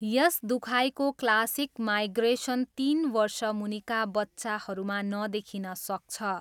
यस दुखाइको classic migraine तिन वर्षमुनिका बच्चाहरूमा नदेखिन सक्छ।